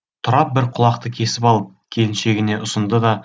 тұрап бір құлақты кесіп алып келіншегіне ұсынды да